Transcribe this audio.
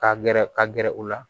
Ka gɛrɛ ka gɛrɛ u la